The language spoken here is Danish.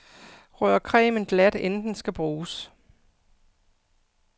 Rør cremen glat inden den skal bruges.